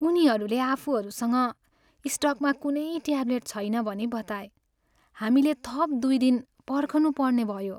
उनीहरूले आफूहरूसँग स्टकमा कुनै ट्याब्लेट छैन भनी बताए। हामीले थप दुई दिन पर्खनुपर्ने भयो।